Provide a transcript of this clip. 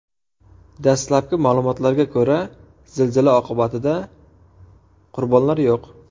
Dastlabki ma’lumotlarga ko‘ra, zilzila oqibatida qurbonlar yo‘q.